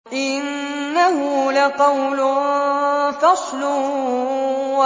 إِنَّهُ لَقَوْلٌ فَصْلٌ